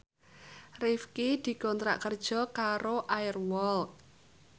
Rifqi dikontrak kerja karo Air Walk